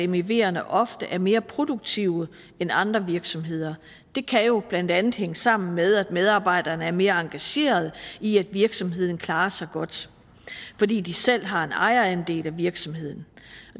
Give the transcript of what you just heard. meverne ofte er mere produktive end andre virksomheder det kan jo blandt andet hænge sammen med at medarbejderne er mere engageret i at virksomheden klarer sig godt fordi de selv har en ejerandel af virksomheden